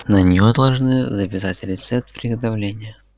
на нее должны записать рецепт приготовления